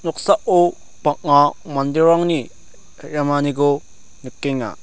noksao bang·a manderangni re·anganiko nikenga.